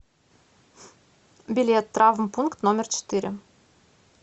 билет травмпункт номер четыре